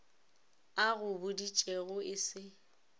a go boditšego e se